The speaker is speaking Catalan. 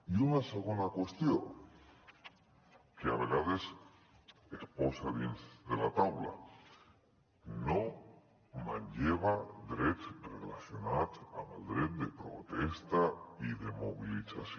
i una segona qüestió que a vegades es posa sobre la taula no manlleva drets relacionats amb el dret de protesta i de mobilització